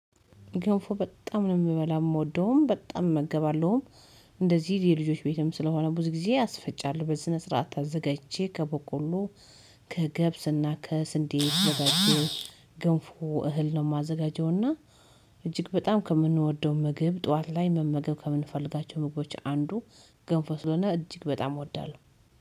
ገንፎ በጣም ነው የምበላው የምወደውም በጣም እመገባለሁም እንደዚህ የልጆች ቤትም ስለሆነ ብዙ ጊዜ አስፈጫለሁ በስነ ስርዓት አዘጋጅቼ ከበቆሎ ከገብስና ከስንዴ ደጋግሞ ግንፉ እህል ነው የማዘጋጀው እና እጅግ በጣም ከምንወደው ምግብ ጠዋት ላይ መመገብ ከምንፈልጋቸው ምግቦች አንዱ፦ ገንፎ ስለሆነ እጅግ በጣም እወዳለሁ።